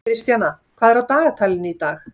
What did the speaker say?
Kristjana, hvað er í dagatalinu í dag?